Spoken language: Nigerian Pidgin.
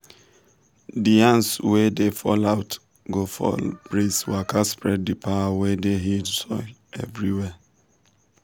the yans we da fall out go follow breeze waka spread the power wey dey heal soil everywhere.